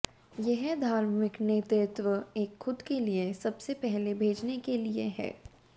यह धार्मिक नेतृत्व एक खुद के लिए सब से पहले भेजने के लिए है